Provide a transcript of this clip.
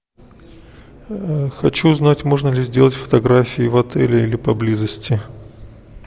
хочу узнать можно ли сделать фотографии в отеле или поблизости